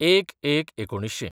०१/०१/१९००